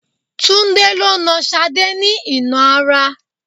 Tunde lo nà Sade ní ìnà ara